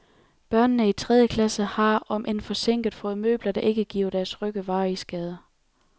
Børnene i tredje klasse har, om end forsinket, fået møbler, der ikke giver deres rygge varige skader.